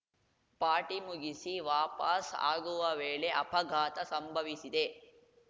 party ಮುಗಿಸಿ ವಾಪಸ್‌ ಆಗುವ ವೇಳೆ ಅಪಘಾತ ಸಂಭವಿಸಿದೆ